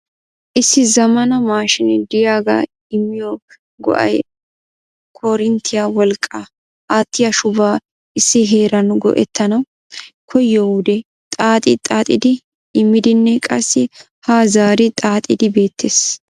Issi zammana maashinee de'iyaaga immiyo go"ay koorinttiya wolqqaa aattiya shubuwaa issi heeran go"ettanaw koyyiyo wude xaaxxi xaaxxidi immidinne qassi ha zaari xaaxxidi beettees.